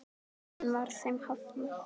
Enn var þeim hafnað.